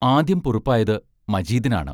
ആദ്യം പൊറുപ്പായത് മജീദിനാണ്.